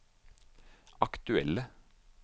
aktuelle